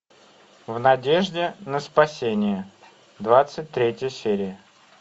в надежде на спасение двадцать третья серия